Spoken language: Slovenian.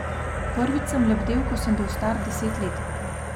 Prvič sem lebdel, ko sem bil star deset let.